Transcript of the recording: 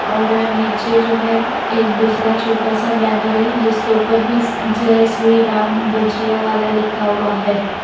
और नीचे जो है एक दूसरा छोटा सा बैनर है जिसके ऊपर भी जय श्री राम भजिया वाला लिखा हुआ है।